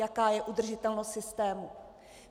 Jaká je udržitelnost systému?